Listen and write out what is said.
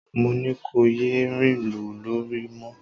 Mo ní kò yé rìnlú lóru mọ